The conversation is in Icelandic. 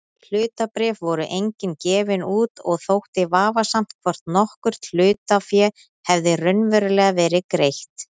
Hlutabréf voru engin gefin út og þótti vafasamt hvort nokkurt hlutafé hefði raunverulega verið greitt.